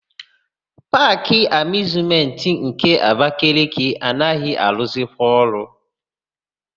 Paakị Amịuzmentị nke Abakaliki anaghị arụzikwa ọrụ.